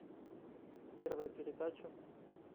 первая передача